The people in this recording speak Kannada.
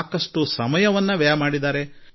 ಸಾಕಷ್ಟು ಸಮಯವನ್ನು ಇದಕ್ಕಾಗಿ ವ್ಯಯಿಸಿದ್ದಾರೆ